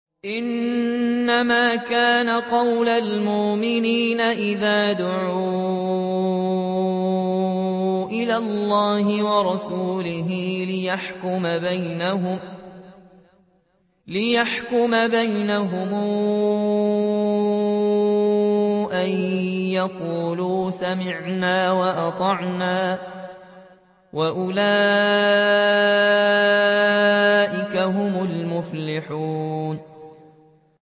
إِنَّمَا كَانَ قَوْلَ الْمُؤْمِنِينَ إِذَا دُعُوا إِلَى اللَّهِ وَرَسُولِهِ لِيَحْكُمَ بَيْنَهُمْ أَن يَقُولُوا سَمِعْنَا وَأَطَعْنَا ۚ وَأُولَٰئِكَ هُمُ الْمُفْلِحُونَ